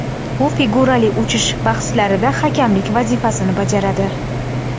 U figurali uchish bahslarida hakamlik vazifasini bajaradi.